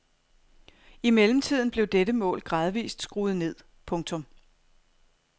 I mellemtiden blev dette mål gradvist skruet ned. punktum